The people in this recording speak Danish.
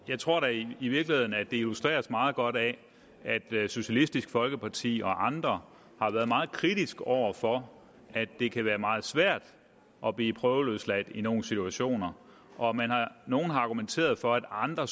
jeg tror i virkeligheden at det illustreres meget godt af at socialistisk folkeparti og andre har været meget kritiske over for at det kan være meget svært at blive prøveløsladt i nogle situationer nogle har argumenteret for at andre